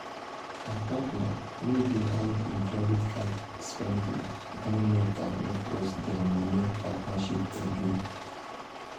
her partner wey dey hide hin credit card spending don make her no trust dia money partnership again.